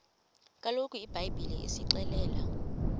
kaloku ibhayibhile isixelela